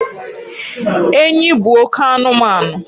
enyi bụ oke anụmanụ